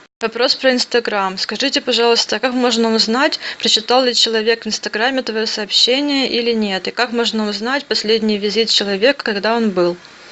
вопрос про инстаграм скажите пожалуйста а как можно узнать прочитал ли человек в инстаграме твое собщенния или нет и как можно узнать последний визит человека когда он был